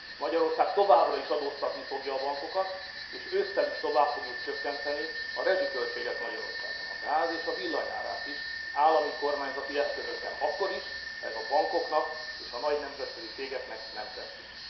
Magyarország továbbra is adóztatni fogja a bankokat és ősszel is tovább fogjuk csökkenteni a rezsiköltséget Magyarországon a gáz és a villany árát is állami, kormányzati eszközökkel akkor is, ha ez a bankoknak és a nagy nemzetközi cégeknek nem tetszik.